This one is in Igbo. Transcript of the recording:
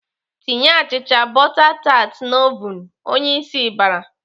"Tinye achịcha bọta tat n'ovun!" Onyeisi bara.